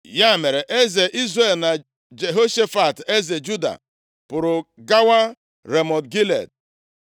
Ya mere, eze Izrel na Jehoshafat eze Juda, pụrụ gawa Ramọt Gilead.